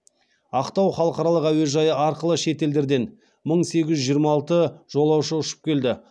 ақтау халықаралық әуежайы арқылы шетелдерден мың сегіз жүз жиырма алты жолаушы ұшып келді